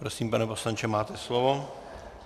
Prosím, pane poslanče, máte slovo.